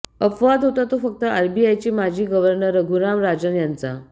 अपवाद होता तो फक्त आरबीआयचे माजी गव्हर्नर रघुराम राजन यांचा